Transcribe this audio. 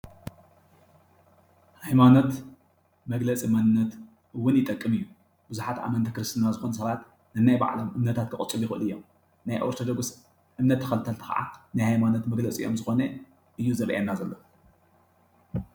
ሃይማኖት መግለፂ መንነት እውን ይጠቅም እዩ። ብዙሓት ኣመንቲ ክርስትና ዝኮኑ ሰባት ነናይ ባዕሎም እምነታት ከቅፅሉ ይክእሉ እዮም። ናይ ኦርቶዶክስ እምነት ተኸተልቲ ካዓ ናይ ሃይማኖት መግለፂኦም ዝኾነ እዩ ዝረኣየና ዘሎ።